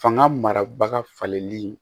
Fanga mara falenli